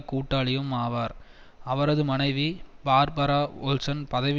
கூட்டாளியும் ஆவார் அவரது மனைவி பார்பரா ஓல்சன் பதவி